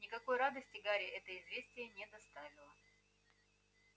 никакой радости гарри это известие не доставило